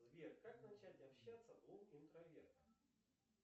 сбер как начать общаться двум интровертам